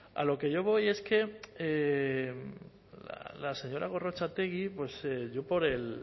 a lo que yo voy es que la señora gorrotxategi yo por el